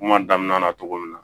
Kuma daminɛ na cogo min na